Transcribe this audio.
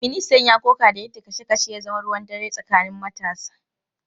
Ministan ya koka da yadda kashe kashen ya zama ruwan dare tsakanin matasa.